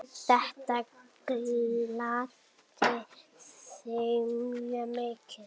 Þetta gladdi þig mjög mikið.